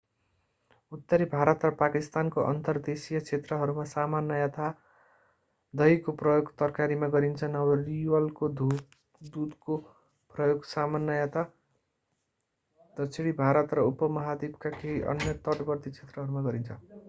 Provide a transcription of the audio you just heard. उत्तरी भारत र पाकिस्तानको अन्तर्देशीय क्षेत्रहरूमा सामान्यतया दहीको प्रयोग तरकारीमा गरिन्छ नरिवलको दूधको प्रयोग सामान्यतया दक्षिणी भारत र उपमहाद्वीपका केही अन्य तटवर्ती क्षेत्रहरूमा गरिन्छ